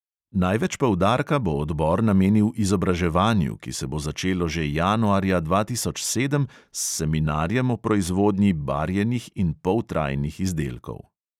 Največ poudarka bo odbor namenil izobraževanju, ki se bo začelo že januarja dva tisoč sedem s seminarjem o proizvodnji barjenih in poltrajnih izdelkov.